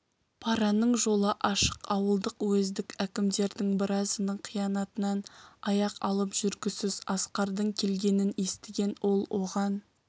параның жолы ашық ауылдық уездік әкімдердің біразының қиянатынан аяқ алып жүргісіз асқардың келгенін естіген ол оған